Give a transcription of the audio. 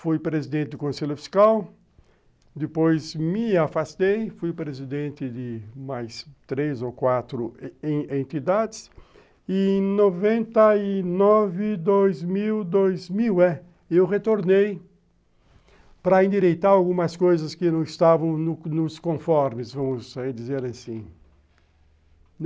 Fui presidente do Conselho Fiscal, depois me afastei, fui presidente de mais três ou quatro entidades, e em noventa e nove, dois mil, dois mil, é, eu retornei para endireitar algumas coisas que não estavam nos nos conformes, vamos dizer assim.